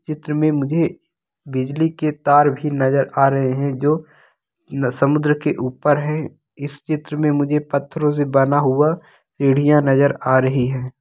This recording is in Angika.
चित्र मे मुझे बिजली के तार भी नजर आ रहे है जो समुद्र के ऊपर है इस चित्र मे मुझे पत्थरों से बना हुआ सीढ़ियां नजर आ रही है।